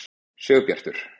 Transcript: Sigurbjartur